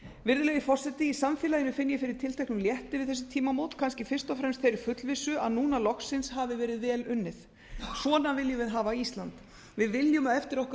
virðulegi forseti í samfélaginu finn ég fyrir tilteknum létti við þessi tímamót kannski fyrst og fremst þeirri fullvissu að núna loksins hafi verið vel unnið svona viljum við hafa ísland við viljum að eftir okkur